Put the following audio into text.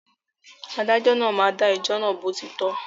Adájọ́ náà máa dà ẹjọ́ náà bó ti tọ́